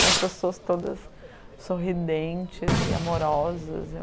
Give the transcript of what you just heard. E as pessoas todas sorridentes e amorosas.